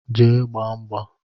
Jee gbaa mgba!